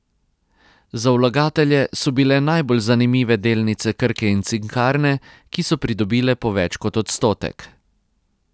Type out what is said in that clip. Za vlagatelje so bile najbolj zanimive delnice Krke in Cinkarne, ki so pridobile po več kot odstotek.